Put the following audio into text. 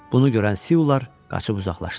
Bunu görən Siular qaçıb uzaqlaşdılar.